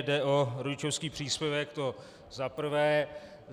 Jde o rodičovský příspěvek, to za prvé.